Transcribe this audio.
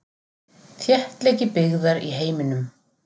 Þéttleiki byggðar í heiminum.